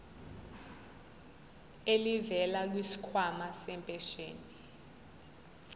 elivela kwisikhwama sempesheni